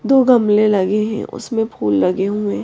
दो गमले लगे हैं उसमें फूल लगे हुए हैं ।